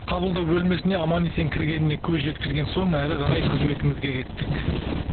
қабылдау бөлмесіне аман есен кіргеніне көз жеткізген соң әрі қарай қызметімізге кеттік